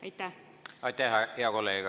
Aitäh, hea kolleeg!